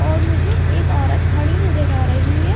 और मुझे एक औरत खड़ी नजर आ रही है।